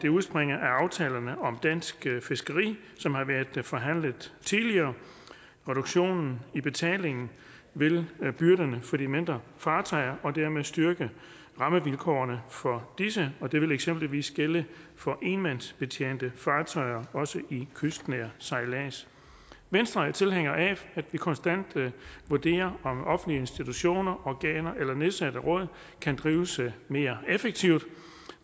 udspringer af aftalerne om dansk fiskeri som har været forhandlet tidligere reduktionen i betalingen vil lette byrderne for de mindre fartøjer og dermed styrke rammevilkårene for disse og det vil eksempelvis gælde for enmandsbetjente fartøjer også i kystnær sejlads venstre er tilhænger af at vi konstant vurderer om offentlige institutioner organer eller nedsatte råd kan drives mere effektivt